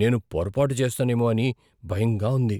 నేను పొరపాటు చేస్తానేమో అని భయంగా ఉంది!